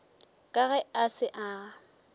ka ge a se a